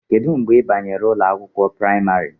Kedu mgbe ị banyere ụlọ akwụkwọ praịmarị?